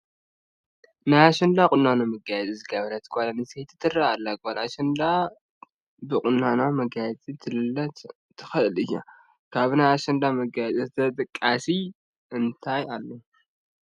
ናይ ኣሸንዳ ቁኖን መጋየፂን ዝገበረት ጓል ኣነስተይቲ ትርአ ኣላ፡፡ ጓል ኣሸንዳ ብኽዳናን መጋየፅአን ክትለለ ትኽእል እያ፡፡ ካብ ናይ ኣሸንዳ መጋየፂ ተጠቃሲ እንታይ ኣሎ?